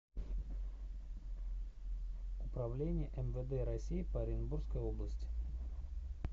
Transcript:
управление мвд россии по оренбургской области